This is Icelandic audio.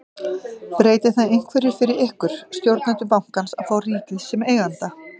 Breytir það einhverju fyrir ykkur, stjórnendur bankans að fá ríkið sem eiganda?